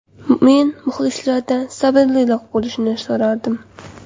Men muxlislardan sabrliroq bo‘lishni so‘rardim.